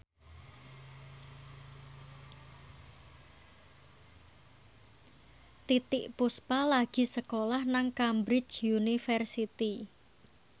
Titiek Puspa lagi sekolah nang Cambridge University